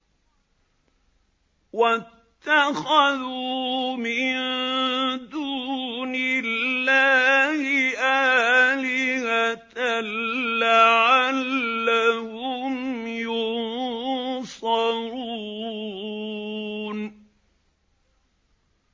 وَاتَّخَذُوا مِن دُونِ اللَّهِ آلِهَةً لَّعَلَّهُمْ يُنصَرُونَ